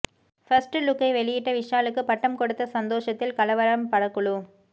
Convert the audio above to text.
first லுக்கை வெளியிட்ட விஷாலுக்கு பட்டம் கொடுத்த சந்தோஷத்தில் கலவரம் படக்குழு